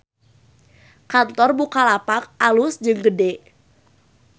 Kantor Bukalapak alus jeung gede